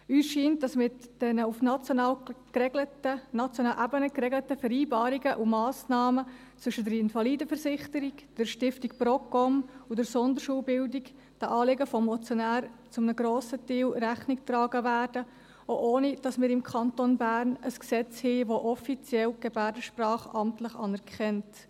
Uns scheint, dass mit den auf nationaler Ebene geregelten Vereinbarungen und Massnahmen zwischen der Invalidenversicherung, der Stiftung Procom und der Sonderschulbildung den Anliegen des Motionärs zu einem grossen Teil auch Rechnung getragen wird, ohne dass wir im Kanton Bern ein Gesetz haben, das die Gebärdensprache offiziell amtlich anerkennt.